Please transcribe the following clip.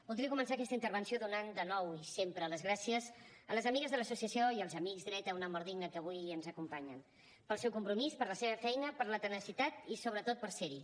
voldria començar aquesta intervenció donant de nou i sempre les gràcies a les amigues de l’associació i als amics dret a una mort digna que avui ens acompanyen pel seu compromís per la seva feina per la tenacitat i sobretot per ser hi